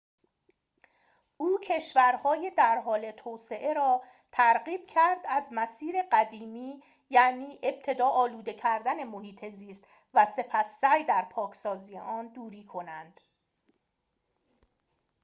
او کشورهای در حال توسعه را ترغیب کرد از مسیر قدیمی یعنی ابتدا آلوده کردن محیط زیست و سپس سعی در پاکسازی آن دوری کنند